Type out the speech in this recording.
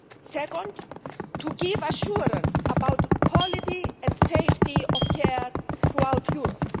second, to give assurance about the quality and safety of care throughout Europe